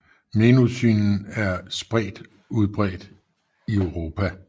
Mnemosynen er spredt udbredt i Europa